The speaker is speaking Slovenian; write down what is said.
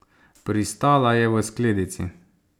Pristala je v skledici.